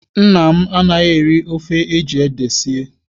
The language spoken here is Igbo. Nna m anaghị-eri ofe eji ede sie.